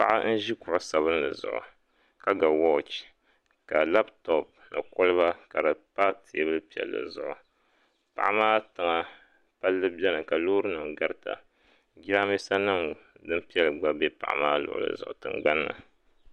Paɣa n ʒi kuɣu sabinli zuɣu ka ga wooch ka labtop ni kolba ka di tam teebuli piɛlli zuɣu paɣa maa tiŋa palli biɛni ka Loori nim garita jiranbiisa nim din piɛli gba bɛ paɣa maa luɣuli zuɣu tingbanni